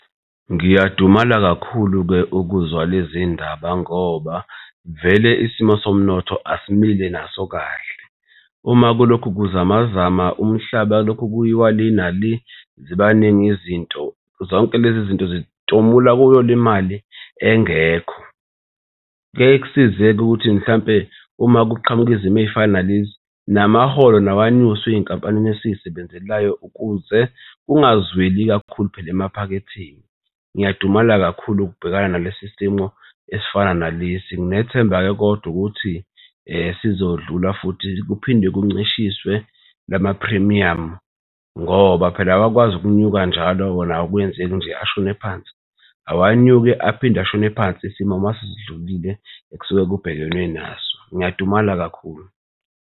Ngiyadumala kakhulu-ke ukuzwa lezi iy'ndaba ngoba vele isimo somnotho asimile naso kahle. Uma kulokhu kuzamazama umhlaba kulokhu kuyiwa le nale zibaningi izinto zonke lezi zinto zitomula kuyo le mali engekho. Kuyeke kuyisize-ke ukuthi mhlampe uma kuqhamuka izimo ey'fana nalezi namaholo nawo anyuswe ey'nkampanini esizisebenzelayo ukuze kungazweli kakhulu phela emaphaketheni. Ngiyadumala kakhulu ukubhekana nalesi simo esifana nalesi. Nginethemba-ke kodwa ukuthi sizodlula futhi kuphinde kuncishiswe la maphrimiyamu ngoba phela awakwazi ukunyuka njalo wona akwenzeki nje ashone phansi. Awanyuke aphinde ashone phansi isimo mase sidlulile ekusuke kubhekwene naso, ngiyadumala kakhulu.